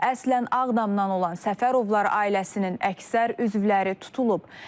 Əslən Ağdamdan olan Səfərovlar ailəsinin əksər üzvləri tutulub.